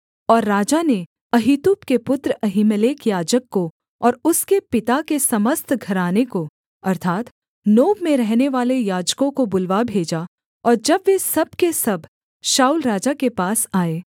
और राजा ने अहीतूब के पुत्र अहीमेलेक याजक को और उसके पिता के समस्त घराने को अर्थात् नोब में रहनेवाले याजकों को बुलवा भेजा और जब वे सब के सब शाऊल राजा के पास आए